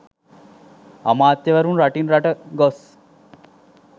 අමාත්‍යවරුන් රටින් රට ගොස්